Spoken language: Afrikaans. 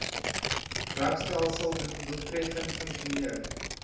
regstelsel doeltreffend funksioneer